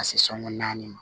Ka se sɔnko naani ma